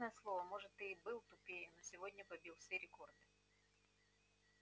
честное слово может ты и был тупее но сегодня побил все рекорды